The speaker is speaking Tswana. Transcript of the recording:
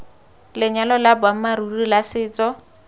lenyalo la boammaaruri la setso